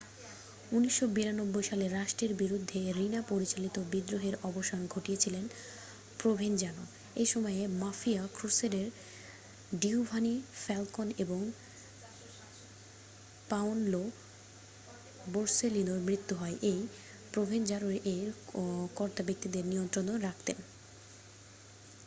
1992 সালে রাষ্ট্রের বিরুদ্ধে রিনা পরিচালিত বিদ্রোহের অবসান ঘটিয়েছিলেন প্রভেনজানো এই সময়েই মাফিয়া ক্রুসেডার ডিওভানি ফ্যালকন এবং পাওনলো বোর্সেলিনোর মৃত্যু হয় এই প্রভেনজানোরই এই কর্তাব্যক্তিদের নিয়ন্ত্রণে রাখতেন